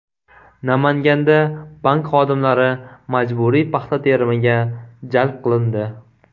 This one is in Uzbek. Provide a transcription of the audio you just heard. Namanganda bank xodimlari majburiy paxta terimiga jalb qilindi.